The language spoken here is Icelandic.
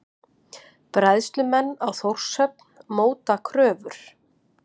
Bræðslumenn á Þórshöfn móta kröfur